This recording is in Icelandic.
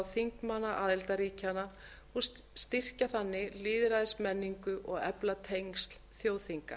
þingmanna aðildarríkjanna og styrkja þannig lýðræðismenningu og efla tengsl þjóðþinga